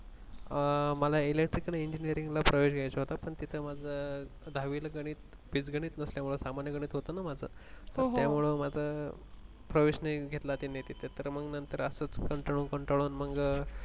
मला electrical engineering ला प्रवेश घ्यायचं होतं पण तिथे माझं दहावीला गणित बीजगणित नसल्यामुळे सामान्य गणित होतं ना माझं हो हो त्यामुळे मला प्रवेश नाही घेतला त्यानि तिथ तर मंग असच कंटाळुन कंटाळुन